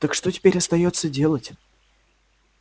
так что теперь остаётся делать